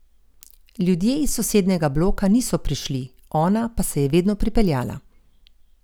Ljudje iz sosednjega bloka niso prišli, ona pa se je vedno pripeljala.